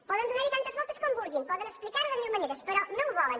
poden donar hi tantes voltes com vulguin poden explicar ho de mil maneres però no ho volen